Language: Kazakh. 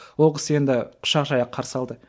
ол кісі енді құшақ жая қарсы алды